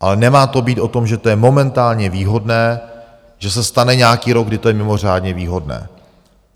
Ale nemá to být o tom, že to je momentálně výhodné, že se stane nějaký rok, kdy to je mimořádně výhodné.